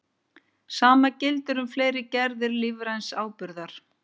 Sama gildir um fleiri gerðir lífræns áburðar.